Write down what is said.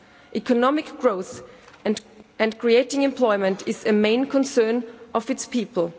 Economic growth and creating employment is a main concern of its people.